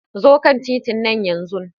Zo kan titina yanzu!